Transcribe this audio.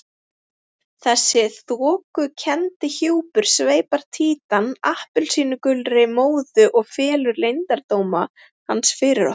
Þessi þokukenndi hjúpur sveipar Títan appelsínugulri móðu og felur leyndardóma hans fyrir okkur.